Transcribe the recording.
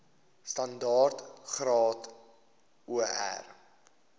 standaard graad or